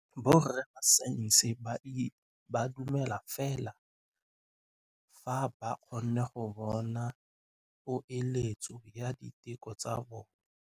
Borra saense ba dumela fela fa ba kgonne go bona poeletsô ya diteko tsa bone.